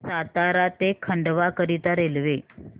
सातारा ते खंडवा करीता रेल्वे